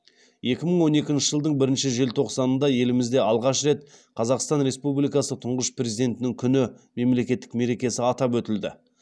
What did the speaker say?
екі мың он екінші жылдың бірінші желтоқсанында елімізде алғаш рет қазақстан республикасы тұңғыш президентінің күні мемлекеттік мерекесі атап өтілді